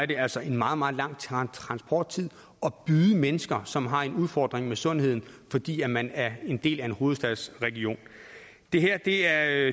det altså en meget meget lang transporttid at byde mennesker som har en udfordring med sundheden fordi man er en del af en hovedstadsregion det her er